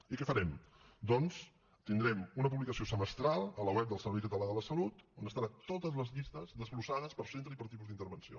i què farem doncs tindrem una publicació semestral a la web del servei català de la salut on estaran totes les llistes desglossades per centre i per tipus d’intervenció